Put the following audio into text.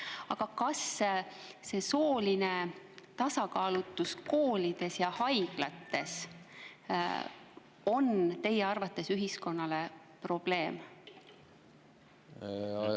Aga kas soolise tasakaalu koolides ja haiglates on teie arvates ühiskonnale probleem?